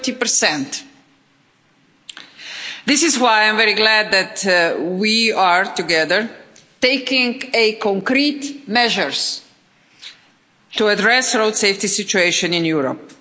30. This is why I am very glad that we are, together, taking concrete measures to address the road safety situation in Europe.